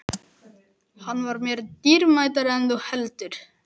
Hann var mér dýrmætari en þú heldur.